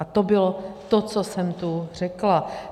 A to bylo to, co jsem tu řekla.